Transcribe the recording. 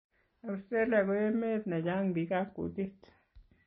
Australia ko emet ne chang pik ab kutit